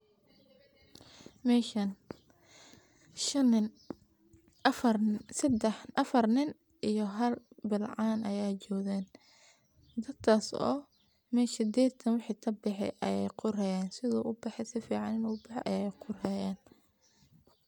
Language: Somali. Meshan shan nin afar nin iyo hal bilcan ayaa joogan dadkas oo mesha geedkan wixi kabaxey ayee qorhayaan sidhuu ubaxey sifican in uu ubahey ayeey qorhayaan.